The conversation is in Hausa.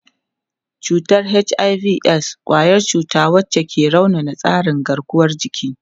Cutar HIV/AIDS kwayar cuta wacce ke raunana tsarin garkuwar jiki.